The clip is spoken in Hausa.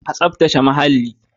A tsafta ce muhalli.